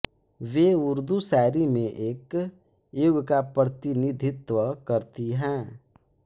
वे उर्दू शायरी में एक युग का प्रतिनिधित्व करती हैं